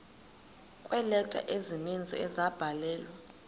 kweeleta ezininzi ezabhalelwa